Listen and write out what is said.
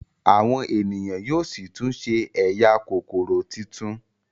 Àwọn ènìyàn yóó sí tún ṣe ẹyà Kókóró títún.